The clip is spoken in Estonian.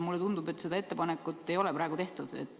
Mulle tundub, et seda ettepanekut ei ole praegu tehtud.